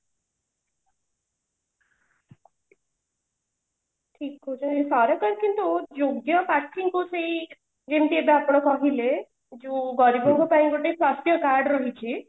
ଠିକ କହୁଛ ନା ସରକାର କିନ୍ତୁ ଯୋଗ୍ୟ ପ୍ରଥୀଙ୍କୁ ସେଇ ଯେମିତି ଏବେ ଆପଣ କହିଲେ ଗରିବଙ୍କ ପାଇଁ ଗୋଟେ ସ୍ୱାସ୍ଥ୍ୟ card ରହିଛି